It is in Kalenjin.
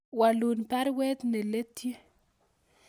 Walun baruet ne letyi